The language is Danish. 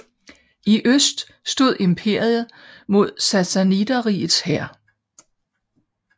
I øst stod imperiet mod Sassaniderrigets hær